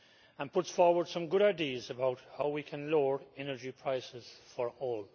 It puts forward some good ideas about how we can lower energy prices for all.